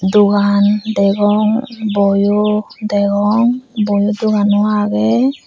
dogan degong boyo degong boi dogano aagey.